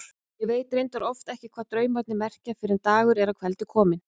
Ég veit reyndar oft ekki hvað draumarnir merkja fyrr en dagur er að kveldi kominn.